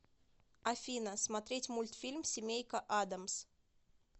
афина смотреть мультфильм семейка адамс